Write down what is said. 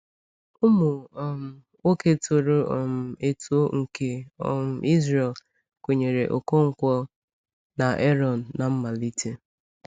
Ụmụ um nwoke toro um eto nke um Izrel kwenyere Ọkọnkwo na Ààrọ̀n n’mmalite.